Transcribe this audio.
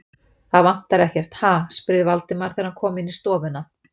Það vantar ekkert, ha? spurði Valdimar, þegar hann kom inn í stofuna.